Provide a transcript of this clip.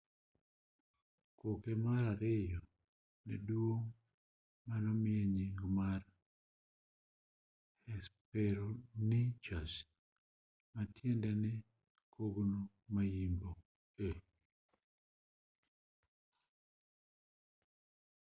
koke mar ariyo nedwong' manomiye nying mar hesperonychus matiende ni kogno ma-yimbo